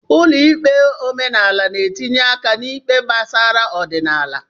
Ụlọ ikpe omenala n'etinye aka n'ikpe gbasara ọdịnala.